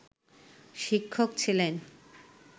শিক্ষক ছিলেন